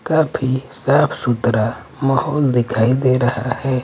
काफी साफ-सुथरा माहौल दिखाई दे रहा है।